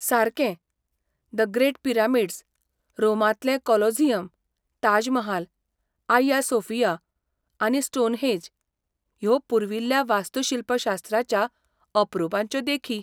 सारकें! The great pyramids, रोमांतलें Colosseum, Taj Mahal, Hagia Sophia आनी स्टोनहेंज ह्यो पुर्विल्ल्या वास्तुशिल्पशास्त्राच्या अपरुपांच्यो देखी.